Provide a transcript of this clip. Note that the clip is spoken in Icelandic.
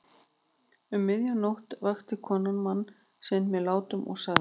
Um miðja nótt vakti konan mann sinn með látum og sagði